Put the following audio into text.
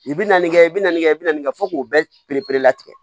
I bi na nin kɛ i bi na nin kɛ i bɛna nin kɛ fɔ k'o bɛɛ bere latigɛ